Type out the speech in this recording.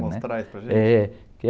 Mostrar isso para a gente?...